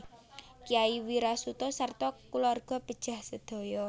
Kyai Wirasuta sarta kulawarga pejah sadaya